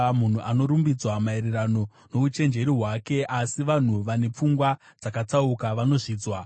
Munhu anorumbidzwa maererano nouchenjeri hwake, asi vanhu vane pfungwa dzakatsauka vanozvidzwa.